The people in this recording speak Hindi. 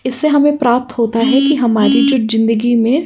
इससे हमें प्राप्त होता है कि हमारे जो जिंदगी में --